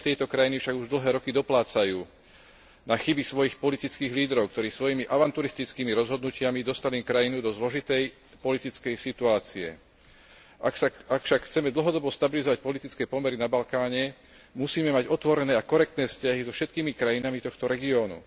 Občania tejto krajiny však už dlhé roky doplácajú na chyby svojich politických lídrov, ktorí svojimi avanturistickými rozhodnutiami dostali krajinu do zložitej politickej situácie. Ak však chceme dlhodobo stabilizovať politické pomery na Balkáne, musíme mať otvorené a korektné vzťahy so všetkými krajinami tohto regiónu.